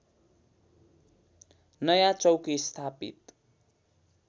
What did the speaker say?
नयाँ चौकी स्थापित